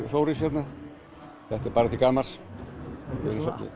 Þóris hérna þetta er bara til gamans